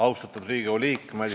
Austatud Riigikogu liikmed!